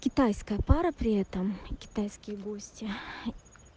китайская пара при этом китайские гости